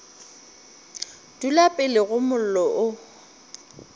dula pele ga mollo o